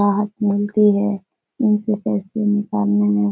राहत मिलती है इनसे पैसे निकालने में।